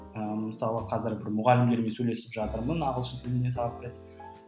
ы мысалы қазір мұғалімдермен сөйлесіп жатырмын ағылшын тілінен сабақ беретін